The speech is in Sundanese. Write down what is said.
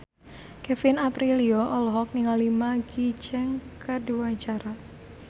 Kevin Aprilio olohok ningali Maggie Cheung keur diwawancara